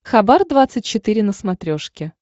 хабар двадцать четыре на смотрешке